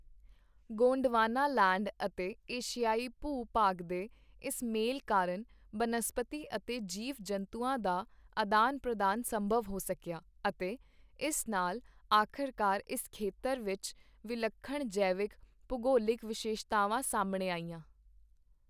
Gondwanaland ਅਤੇ ਏਸ਼ੀਆਈ ਭੂ ਭਾਗ ਦੇ ਇਸ ਮੇਲ ਕਾਰਨ, ਬਨਸਪਤੀ ਅਤੇ ਜੀਵ ਜੰਤੂਆਂ ਦਾ ਆਦਾਨ ਪ੍ਰਦਾਨ ਸੰਭਵ ਹੋ ਸਕਿਆ ਅਤੇ ਇਸ ਨਾਲ ਆਖ਼ਰਕਾਰ ਇਸ ਖੇਤਰ ਵਿੱਚ ਵਿਲੱਖਣ ਜੈਵਿਕ ਭੂਗੋਲਿਕ ਵਿਸ਼ੇਸ਼ਤਾਵਾਂ ਸਾਹਮਣੇ ਆਈਆਂ।